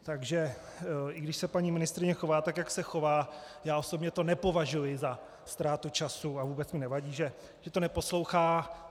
Takže i když se paní ministryně chová tak, jak se chová, já osobně to nepovažuji za ztrátu času a vůbec mi nevadí, že to neposlouchá.